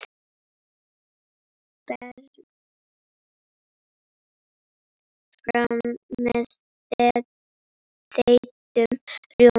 Berið fram með þeyttum rjóma.